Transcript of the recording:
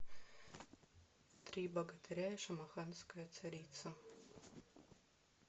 три богатыря и шамаханская царица